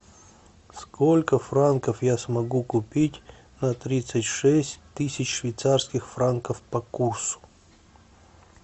сколько франков я смогу купить на тридцать шесть тысяч швейцарских франков по курсу